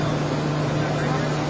Yox, bax.